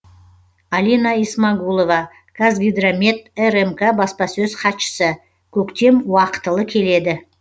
алина исмагулова қазгидромет рмк баспасөз хатшысы көктем уақытылы келеді